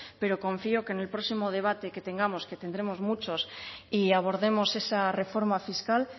pero confío que en el próximo debate que tengamos que tendremos muchos y abordemos esa reforma fiscal